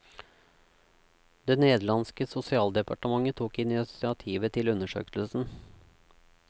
Det nederlandske sosialdepartementet tok initiativet til undersøkelsen.